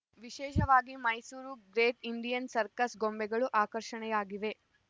ವಿಶೇಷವಾಗಿ Mysuru Great Indian Circus ಗೊಂಬೆಗಳು ಆಕರ್ಷಣೆಯಾಗಿವೆ